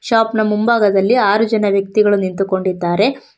Shop ನ ಮುಂಭಾಗದಲ್ಲಿ ಆರು ಜನ ವ್ಯಕ್ತಿಗಳು ನಿಂತುಕೊಂಡಿದ್ದಾರೆ.